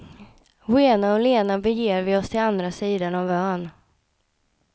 Rena och lena beger vi oss till andra sidan av ön.